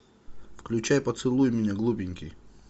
включай поцелуй меня глупенький